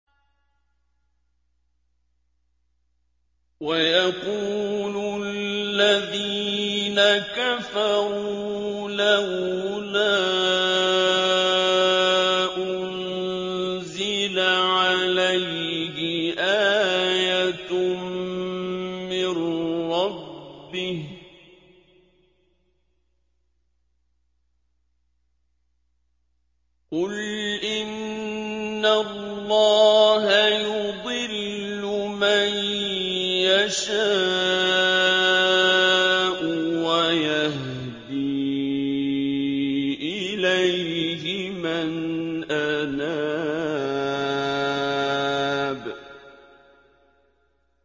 وَيَقُولُ الَّذِينَ كَفَرُوا لَوْلَا أُنزِلَ عَلَيْهِ آيَةٌ مِّن رَّبِّهِ ۗ قُلْ إِنَّ اللَّهَ يُضِلُّ مَن يَشَاءُ وَيَهْدِي إِلَيْهِ مَنْ أَنَابَ